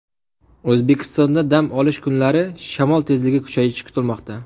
O‘zbekistonda dam olish kunlari shamol tezligi kuchayishi kutilmoqda.